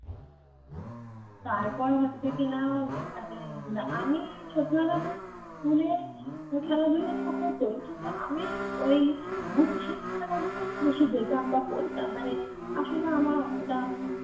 তারপর হচ্ছে কিনা মানে আমি সত্যি কথা বলতে school এ খেলাধুলা তো হতোই কিন্তু আমি ওই বুদ্ধির খেলা গুলোই বেশি যেতাম বা করতাম মানে আসলে আমার অতটা